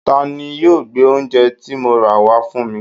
Tani yóò gbé oúnje ti mo rà wá fún mi?